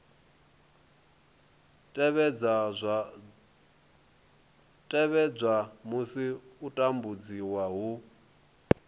tevhedzwa musi u tambudziwa hu